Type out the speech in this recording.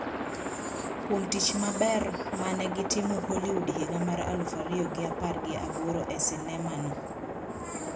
Kuom tich maber ma ne gitimo Hollywood higa mar aluf ariyo gi apar gi aboro e sinema no